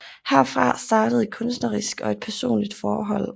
Herfra startede et kunstnerisk og et personligt forhold